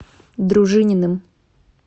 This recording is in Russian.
дружининым